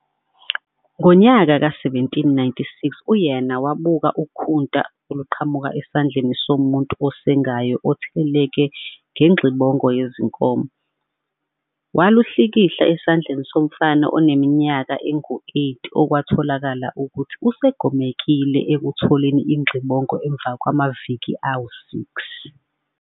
Ngonyaka ka 1796, u-Jenner wabuka ukhunta oluqhamuka esandleni somuntu osengayo otheleleke ngengxibongo yezinkomo, waluhlikihla esandleni somfana oneminyaka eyisi-8 okwatholakala ukuthi usegomekile ekutholeni ingxibongo emva kwamaviki ayisi-6.